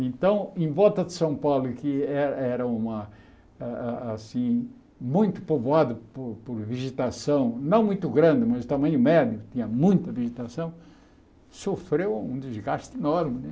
Então, em volta de São Paulo, que eh era ah assim muito povoado por por vegetação, não muito grande, mas de tamanho médio, tinha muita vegetação, sofreu um desgaste enorme né.